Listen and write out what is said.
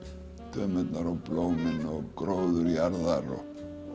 dömurnar og blómin og gróður jarðar og